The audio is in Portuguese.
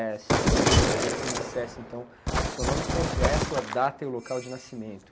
E, assim, eu queria que você me dissesse, então, o seu nome completo, a data e o local de nascimento.